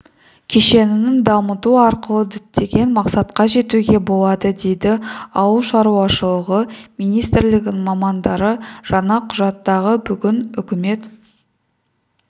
кешенін дамыту арқылы діттеген мақсатқа жетуге болады дейді ауылшаруашылығы министрілігінің мамандары жаңа құжатты бүгін үкімет